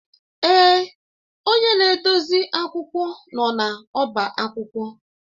Èè, onye na-edozi akwụkwọ nọ n'ọba akwụkwọ.